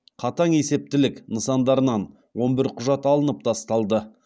қатаң есептілік нысандарынан он бір құжат алынып тасталды